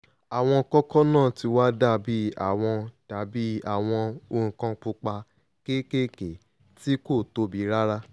àwọn kókó náà ti wá dàbí àwọn dàbí àwọn nǹkan pupa kéékèèké tí kò tóbi rárá